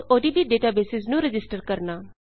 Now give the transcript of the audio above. odb databases ਨੂੰ register ਕਰਣਾ